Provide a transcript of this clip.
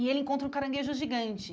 E ele encontra um caranguejo gigante.